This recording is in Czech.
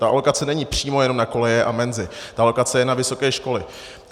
ta alokace není přímo jenom na koleje a menzy, ta alokace je na vysoké školy.